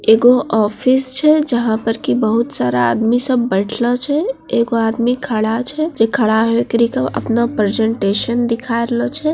एगो ऑफिस छे जँहा पर के बहुत सारा आदमी सब बइठले छे एगो आदमी खड़ा छे जे खड़ा है ओकिरी के अपना प्रेजेंटेशन दिखा रहले छे।